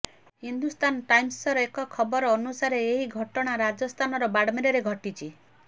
ହିନ୍ଦୁସ୍ତାନ ଟାଇମ୍ସର ଏକ ଖବର ଅନୁସାରେ ଏହି ଘଟଣା ରାଜସ୍ଥାନର ବାଡମେରରେ ଘଟିଛି